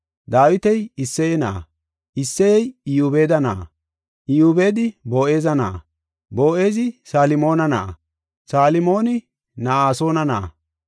Dawiti Isseye na7a, Isseyey Iyobeeda na7a, Iyobeedi Boo7eza na7a, Boo7ezi Salmoona na7a, Salmoona Na7asoona na7a,